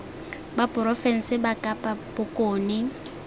ba porofense ba kapa bokone